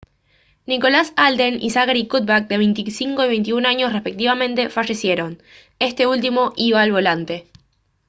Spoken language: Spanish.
nicholas alden y zachary cuddeback de 25 y 21 años respectivamente fallecieron este último iba al volante